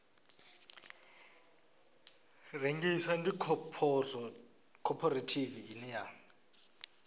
rengisa ndi khophorethivi ine ya